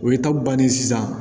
O ye ta bannen sisan